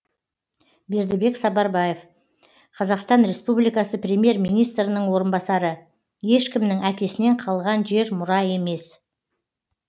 бердібек сапарбаев қазақстан республикасы премьер министрінің орынбасары ешкімнің әкесінен қалған жер мұра емес